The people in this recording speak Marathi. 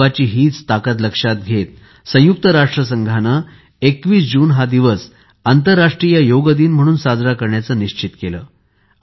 योगची हीच ताकद लक्षात घेत संयुक्त राष्ट्रसंघाने २१ जून हा दिवस आंतरराष्ट्रीय योग दिन म्हणून साजरा करण्याचे निश्चित केले